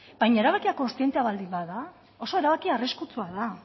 baina erabakia kontzientea baldin bada oso erabaki arriskutsua da